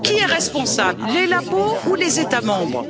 Qui est responsable les laboratoires où les États membres?